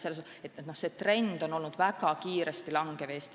See trend on meie jaoks olnud väga kiiresti langev.